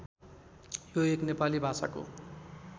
यो एक नेपाली भाषाको